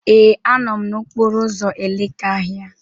Ee, a nọ m n'okporo ụzọ Elekahia.